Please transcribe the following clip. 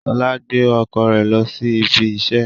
Ṣọla gbé ọkọ rẹ lo sí ibí iṣẹ